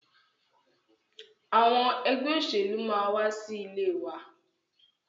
Àwọn ẹgbẹ́ òṣèlú máa wa sí ilé wa.